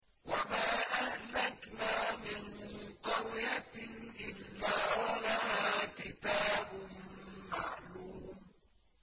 وَمَا أَهْلَكْنَا مِن قَرْيَةٍ إِلَّا وَلَهَا كِتَابٌ مَّعْلُومٌ